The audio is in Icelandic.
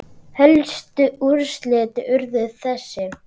Helstu úrslit urðu þessi